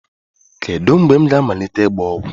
Kedu mgbe m ga-amalite ịgba ọgwụ?